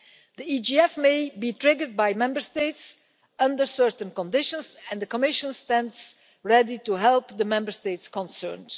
The EGF may be triggered by Member States under certain conditions and the Commission stands ready to help the Member States concerned.